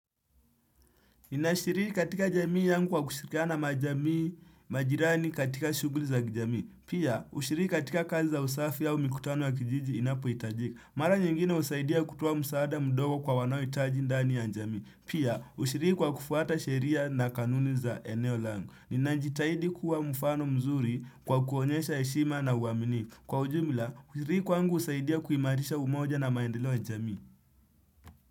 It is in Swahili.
Ninashiri katika jamii yangu wa kushirikana majirani katika shughuli za kijamii. Pia, usiriki katika kazi za usafi au mikutano ya kijiji inapo itajika. Mara nyingine usaidia kutoa msaada mdogo kwa wanaohitaji ndani ya njamii. Pia, usiriki kwa kufuata sheria na kanuni za eneo langu. Ninajitahidi kuwa mfano mzuri kwa kuonyesha heshima na uwaminifu. Kwa ujumla, kusiriki kwangu usaidia kuimarisha umoja na maendeleo ya jamii.